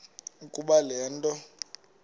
ukuba le nto